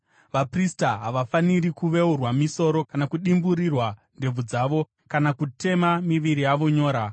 “ ‘Vaprista havafaniri kuveurwa misoro kana kudimburira ndebvu dzavo kana kutema miviri yavo nyora.